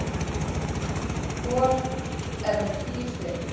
Hvor er með tíu stig